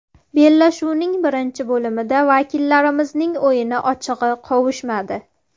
Bellashuvning birinchi bo‘limida vakillarimizning o‘yini ochig‘i qovushmadi.